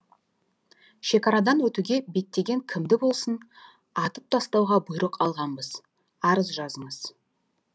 шекарадан өтуге беттеген кімді болсын атып тастауға бұйрық алғанбыз арыз жазыңыз